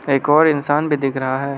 एक और इंसान भी दिख रहा है।